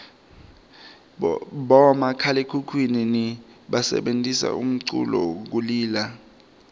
bomakhalaekhukhwini basebentisa umculu kulila